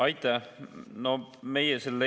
Aitäh!